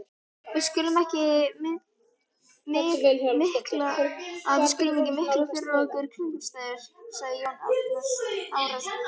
Við skulum ekki mikla fyrir okkur kringumstæður, sagði Jón Arason.